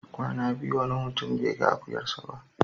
Kwana biyu wani mutum bai ga akuyarsa ba.